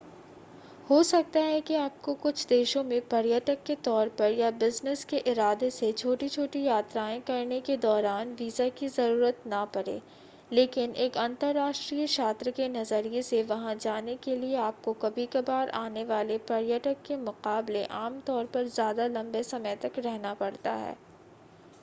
हो सकता है कि आपको कुछ देशों में पर्यटक के तौर पर या बिज़नेस के इरादे से छोटी-छोटी यात्राएं करने के दौरान वीजा की ज़रूरत न पड़े लेकिन एक अंतरराष्ट्रीय छात्र के नज़रिए से वहां जाने के लिए आपको कभी-कभार आने वाले पर्यटक के मुकाबले आम तौर पर ज़्यादा लंबे समय तक रहना पड़ता है